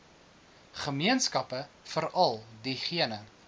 gemeenskappe veral diegene